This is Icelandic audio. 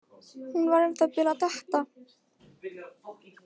Hún var um það bil að detta.